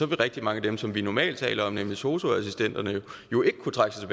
vil rigtig mange af dem som vi normalt taler om nemlig sosu assistenterne jo ikke kunne trække sig